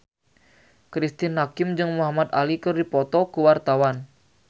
Cristine Hakim jeung Muhamad Ali keur dipoto ku wartawan